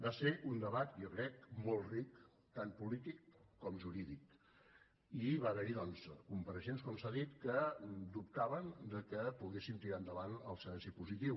va ser un debat jo crec molt ric tant polític com jurídic i va haver hi doncs compareixents com s’ha dit que dubtaven que poguéssim tirar endavant el silenci positiu